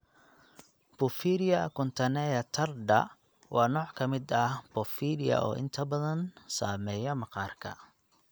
Porphyria cutanea tarda (PCT) waa nooc ka mid ah porphyria oo inta badan saameeya maqaarka.